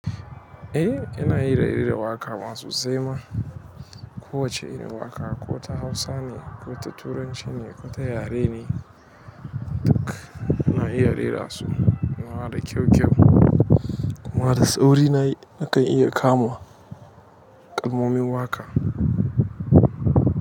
Eh, ina iya rera waƙa ma sosai ma. Kowace irin waƙa ko ta hausa ne, ko ta koturanci ne, ko ta yarene ana iya rera su. Ana haɗa kyau kyau kuma da tsauri na kai iya kamu kalmomin waƙa.